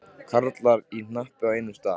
Karlar í hnapp á einum stað.